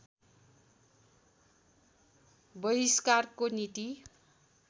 बहिस्कारको नीति